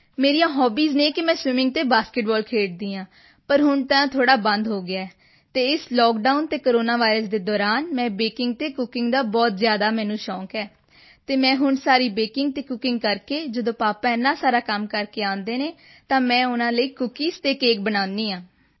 ਮੇਰੀਆਂ ਹੌਬੀਜ਼ ਹਨ ਕਿ ਮੈਂ ਸਵਿਮਿੰਗ ਅਤੇ ਬਾਸਕਟਬਾਲ ਖੇਡਦੀ ਹਾਂ ਪਰ ਹੁਣ ਤਾਂ ਉਹ ਥੋੜ੍ਹਾ ਬੰਦ ਹੋ ਗਿਆ ਹੈ ਅਤੇ ਇਸ ਲਾਕਡਾਊਨ ਅਤੇ ਕੋਰੋਨਾ ਵਾਇਰਸ ਦੇ ਦੌਰਾਨ ਮੈਂ ਬੇਕਿੰਗ ਅਤੇ ਕੁੱਕਿੰਗ ਦਾ ਬਹੁਤ ਜ਼ਿਆਦਾ ਮੈਨੂੰ ਸ਼ੌਂਕ ਹੈ ਅਤੇ ਮੈਂ ਹੁਣ ਸਾਰੀ ਬੇਕਿੰਗ ਅਤੇ ਕੁੱਕਿੰਗ ਕਰਕੇ ਜਦੋਂ ਪਾਪਾ ਇੰਨਾ ਸਾਰਾ ਕੰਮ ਕਰਕੇ ਆਉਂਦੇ ਹਨ ਤਾਂ ਮੈਂ ਉਨ੍ਹਾਂ ਦੇ ਲਈ ਕੁੱਕੀਜ਼ ਅਤੇ ਕੇਕ ਬਣਾਉਂਦੀ ਹਾਂ